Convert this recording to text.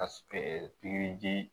Ka pikiri ji